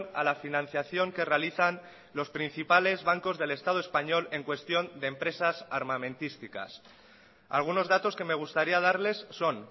a la financiación que realizan los principales bancos del estado español en cuestión de empresas armamentísticas algunos datos que me gustaría darles son